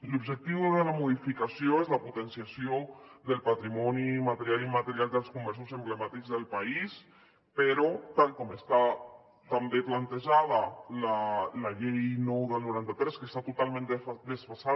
l’objectiu de la modificació és la potenciació del patrimoni material i immaterial dels comerços emblemàtics del país però tal com està també plantejada la llei nou del noranta tres que està totalment desfasada